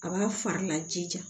A b'a fari lajija